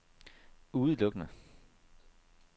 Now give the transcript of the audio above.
udelukkende